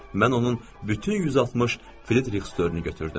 Mən onun bütün 160 firirik sitorunu götürdüm.